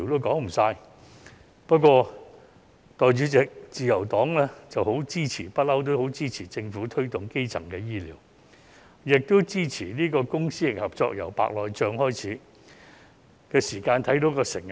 代理主席，自由黨一直很支持政府推動基層醫療，亦支持公私營合作，從白內障手術計劃便可看到成效。